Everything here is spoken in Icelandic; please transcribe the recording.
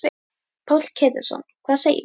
Páll Ketilsson: Hvað segirðu?